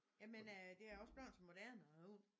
Jamen øh det er også bleven så moderne at have hund